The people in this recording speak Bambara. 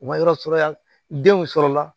U ma yɔrɔ sɔrɔ yan denw sɔrɔla